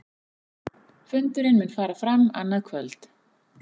Fundurinn mun fara fram annað kvöld